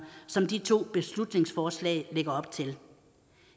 som de to beslutningsforslag lægger op til